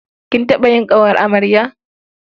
Kin taɓa yin ƙawar amarya?